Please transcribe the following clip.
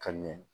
Ka ɲɛ